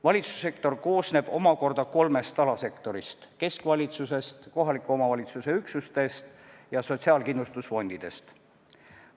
Valitsussektor koosneb omakorda kolmest alasektorist: keskvalitsusest, kohaliku omavalitsuse üksustest ja sotsiaalkindlustusfondidest.